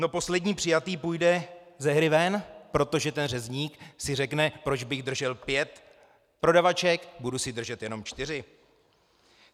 No poslední přijatý půjde ze hry ven, protože ten řezník si řekne, proč bych držel pět prodavaček, budu si držet jenom čtyři.